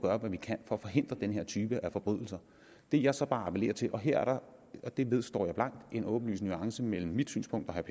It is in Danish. hvad vi kan for at forhindre den her type af forbrydelser det jeg så bare appellerer til og her er der det vedstår jeg blankt en åbenlys nuance mellem mit synspunkt og herre